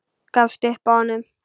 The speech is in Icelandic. Gafst upp á honum.